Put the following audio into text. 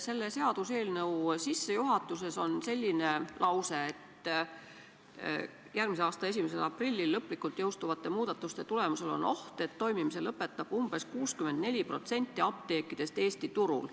Selle seaduseelnõu sissejuhatuses on selline lause: "2020. aasta 1. aprillil lõplikult jõustuvate muudatuste tulemusel on oht, et toimimise lõpetab ca 64% apteekidest Eesti turul.